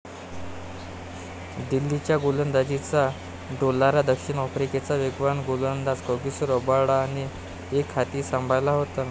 दिल्लीच्या गोलंदाजीचा डोलारा दक्षिण आफ्रिकेचा वेगवान गोलंदाज कॅगिसो रबाडाने एकहाती सांभाळला होता.